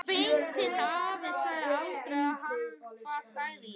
Beinteinn afi sagði aldrei við hana: Hvað sagði ég?